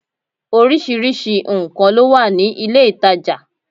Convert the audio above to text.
Orísirísi nkàn ló wà ní ilé ìtajà